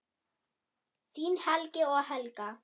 Þín Helgi og Helga.